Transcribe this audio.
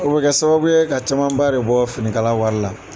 O bɛ kɛ sababu ye ka camanba de bɔ finikala wari la.